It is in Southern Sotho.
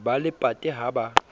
ba le pate ha ba